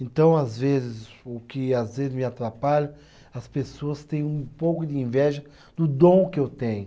Então, às vezes, o que às vezes me atrapalha, as pessoas têm um pouco de inveja do dom que eu tenho.